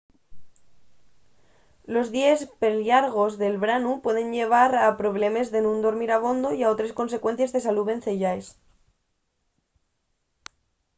los díes perllargos del branu pueden llevar a problemes de nun dormir abondo y a otres consecuencies de salú venceyaes